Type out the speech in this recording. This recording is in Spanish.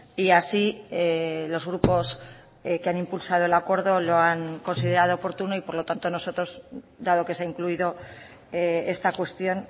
y así los grupos que han impulsado el acuerdo lo han considerado oportuno y por lo tanto nosotros dado que se ha incluido esta cuestión